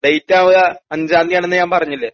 ഡേറ്റാവുക അഞ്ചാംന്തി ആണെന്ന് ഞാൻ പറഞ്ഞില്ലേ?